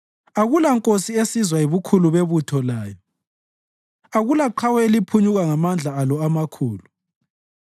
Akulankosi esizwa yibukhulu bebutho layo; akulaqhawe eliphunyuka ngamandla alo amakhulu.